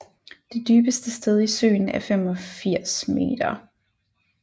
Det dybeste sted i søen er 85 meter